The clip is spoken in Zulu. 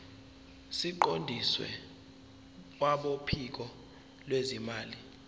siqondiswe kwabophiko lwezimali